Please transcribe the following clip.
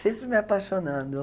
Sempre me apaixonando.